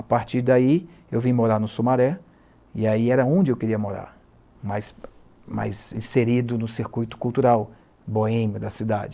A partir daí, eu vim morar no Sumaré, e aí era onde eu queria morar, mais, mais inserido no circuito cultural boêmio da cidade.